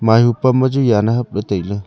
mahu pam ma chu yan ne hapley tailey.